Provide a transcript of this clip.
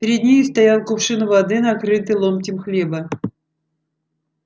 перед нею стоял кувшин воды накрытый ломтем хлеба